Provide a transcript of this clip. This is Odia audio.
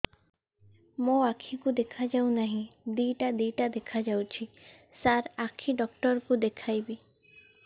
ମୋ ଆଖିକୁ ଦେଖା ଯାଉ ନାହିଁ ଦିଇଟା ଦିଇଟା ଦେଖା ଯାଉଛି ସାର୍ ଆଖି ଡକ୍ଟର କୁ ଦେଖାଇବି